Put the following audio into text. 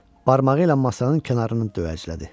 Barmağı ilə masanın kənarını dövəclədi.